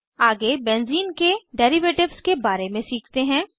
आगे benzene benzene के derivatives के बारे में सीखते हैं